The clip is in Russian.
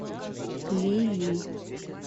ли ли